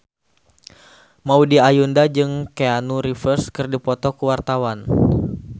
Maudy Ayunda jeung Keanu Reeves keur dipoto ku wartawan